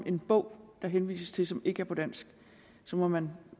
en bog der henvises til som ikke er på dansk så må man